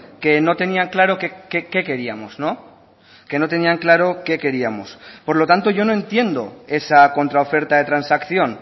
que no tenían claro qué queríamos que no tenían claro qué queríamos por lo tanto yo no entiendo esa contra oferta de transacción